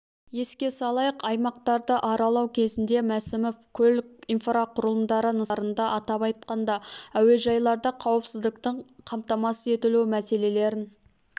еске салайық аймақтарды аралау кезінде мәсімов көлік инфрақұрылымдары нысандарында атап айтқанда әуежайларда қауіпсіздіктің қамтамасыз етілуі мәселелерін